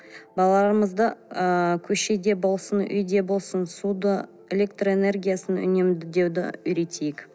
балаларымызды ы көшеде болсын үйде болсын суды электроэнергиясын үнемдеуді үйретейік